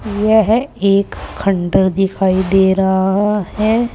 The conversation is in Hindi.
यह एक खंडहर दिखाई दे रहा है।